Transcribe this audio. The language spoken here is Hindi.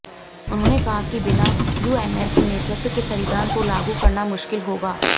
उन्होंने कहा कि बिना यूएमएल के नेतृत्व के संविधान को लागू करना मुश्किल होगा